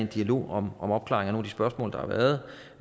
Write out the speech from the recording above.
dialog om opklaringen af de spørgsmål der har været